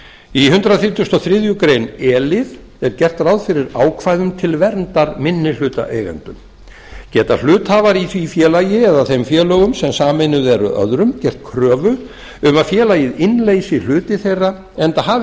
í hundrað þrítugasta og þriðju grein e lið er gert ráð fyrir ákvæðum til verndar minnihlutaeigendum geta hluthafar í því félagi eða þeim félögum sem sameinuð eru öðrum gert kröfu um að félagið innleysi hluti þeirra enda hafi